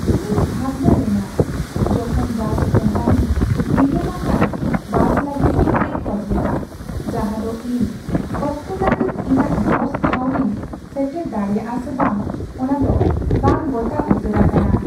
ᱤᱧᱤᱧ ᱵᱷᱟᱵᱱᱟ ᱞᱮᱱᱟ ᱡᱚᱠᱷᱚᱱ ᱵᱟᱥ ᱠᱳᱢᱯᱟᱱᱤ ᱵᱤᱞᱳᱢ ᱟᱠᱟᱱ ᱵᱟᱥ ᱞᱟᱹᱜᱤᱫ ᱤᱠᱟᱹᱭ ᱠᱷᱚᱡ ᱞᱮᱫᱟ, ᱡᱟᱦᱟᱸᱫᱚ ᱤᱧ ᱚᱠᱛᱚᱱᱟᱹᱯᱤᱛ ᱤᱧᱟᱹᱜ ᱡᱚᱥ ᱴᱷᱟᱶ ᱨᱤᱧ ᱥᱮᱴᱮᱨ ᱫᱟᱲᱮᱭᱟᱜᱼᱟ ᱥᱮ ᱵᱟᱝ ᱚᱱᱟᱫᱚ ᱵᱟᱝ ᱜᱚᱴᱟ ᱩᱛᱟᱹᱨ ᱟᱠᱟᱱᱟ ᱾